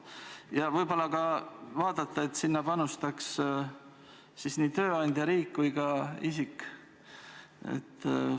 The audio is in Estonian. Ja võib-olla võiks sinna panustada ka tööandja lisaks riigile ja isikule endale?